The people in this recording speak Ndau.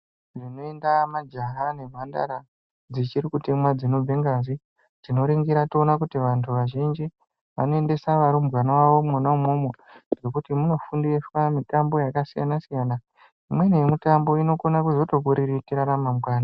Zvinoenda majaha nemhandara dzichiri kutemwa zvinobva ngazi tinoningira toona kuti vantu vazhinji vanoendesa varumbwana vavo mona imomo ngekuti munofundiswa mitambo yakasiyana siyana imweni yemitambo inogona kuzokuriritira ramangwani.